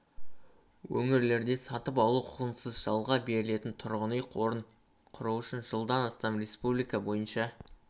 өңірлерде сатып алу құқығынсыз жалға берілетін тұрғын үй қорын құру үшін жылдан бастап республика бойынша